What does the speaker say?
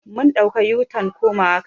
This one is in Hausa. Mun ɗauka u-turn komawa kasuwa.